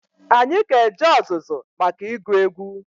Anyị ga-eje ọzụzụ maka ịgụ egwu.